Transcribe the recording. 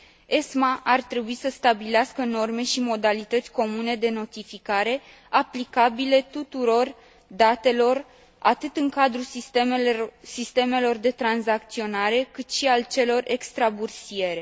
ESMA ar trebui să stabilească norme și modalități comune de notificare aplicabile tuturor datelor, atât în cadrul sistemelor de tranzacționare, cât și al celor extrabursiere.